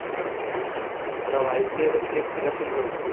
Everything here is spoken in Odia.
ପୁରା ଭାବିକି ଏବେ script selection କରୁଛି